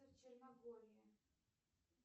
черногория